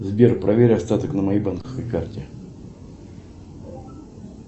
сбер проверь остаток на моей банковской карте